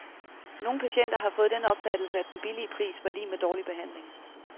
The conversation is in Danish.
Nogle patienter har fået den opfattelse, at den billige pris var lig med dårlig behandling.